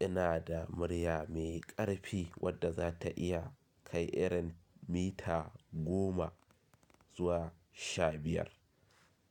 Ina da murya mai ƙarfi wadda za ta iya kai iren mita goma zuwa sha biyar.